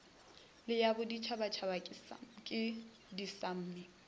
le ya boditšhabatšhaba ke dismme